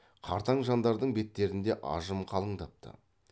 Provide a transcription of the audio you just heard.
қартаң жандардың беттерінде ажым қалыңдапты